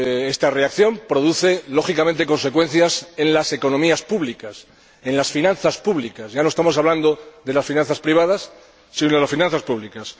Esta reacción produce, lógicamente, consecuencias en las economías públicas, en las finanzas públicas. Ya no estamos hablando de las finanzas privadas, sino de las finanzas públicas.